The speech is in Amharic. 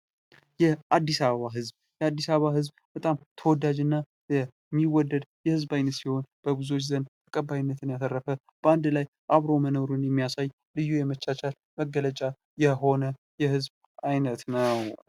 የአድስ አበባ ህዝብ የአድስ አበባ ህዝብ ፦በጣም ተወዳጅ እና የሚወደድ ህዝብ ሲሆን በብዙዎች ዘንድ ተቀባይነትን ያተረፈ በአንድ ላይ አብሮ መኖርን የሚያሳይ ልዩ የመቻቻል መገለጫ የሆነ የህዝብ አይነት ነው።